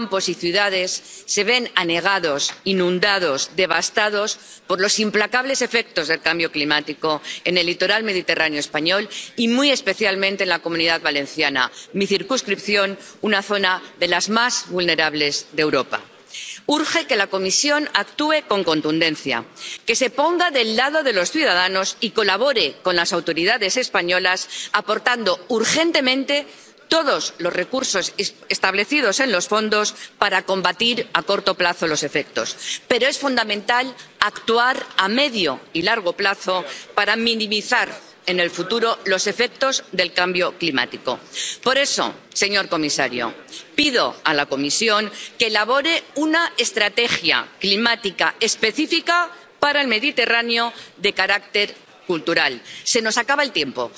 Señor presidente, señor comisario, catorce personas han perdido la vida. Es la segunda vez en cuatro meses que nuestras playas, campos y ciudades se ven anegados, inundados, devastados por los implacables efectos del cambio climático en el litoral mediterráneo español, y muy especialmente en la Comunidad Valenciana, mi circunscripción, una zona de las más vulnerables de Europa. Urge que la Comisión actúe con contundencia, que se ponga del lado de los ciudadanos y colabore con las autoridades españolas, aportando urgentemente todos los recursos establecidos en los fondos para combatir a corto plazo los efectos. Pero es fundamental actuar a medio y largo plazo para minimizar, en el futuro, los efectos del cambio climático. Por eso, señor comisario, pido a la Comisión que elabore una estrategia climática específica para el Mediterráneo de carácter cultural. Se nos acaba el tiempo.